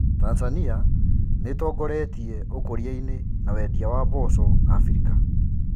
Tanzania niitongoretie ũkũriaini na wendia wa mboco Afrika.